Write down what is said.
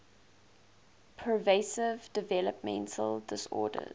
pervasive developmental disorders